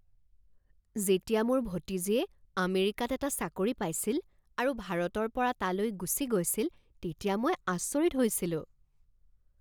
যেতিয়া মোৰ ভতিজীয়ে আমেৰিকাত এটা চাকৰি পাইছিল আৰু ভাৰতৰ পৰা তালৈ গুচি গৈছিল তেতিয়া মই আচৰিত হৈছিলোঁ।